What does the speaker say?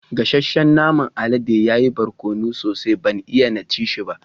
Gassacen naman aladen ya yi barkonu sosai, ban iya na ci shi ba.